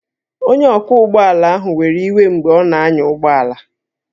Onye ọkwọ ụgbọ ala ahụ were iwe mgbe ọ na-anya ụgbọ ala